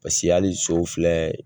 Paseke hali so filɛ